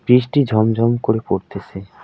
বৃষ্টি ঝমঝম করে পড়তেসে।